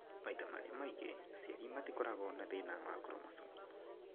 Maita marĩa maingĩ, aciari matikoragwo na thĩna wa chromosomes